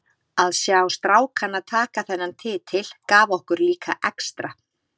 Að sjá strákana taka þennan titil gaf okkur líka extra.